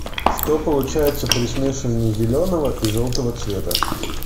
что получается при смешивании зеленого и желтого цвета